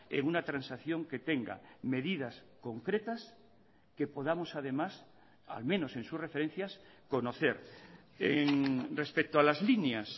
en una transacción que tenga medidas concretas que podamos además al menos en sus referencias conocer respecto a las líneas